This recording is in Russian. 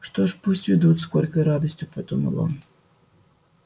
что ж пусть ведут с горькой радостью подумал он